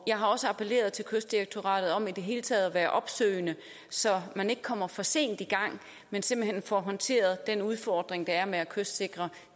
jeg har også appelleret til kystdirektoratet om i det hele taget at være opsøgende så man ikke kommer for sent i gang men simpelt hen får håndteret den udfordring der er med at kystsikre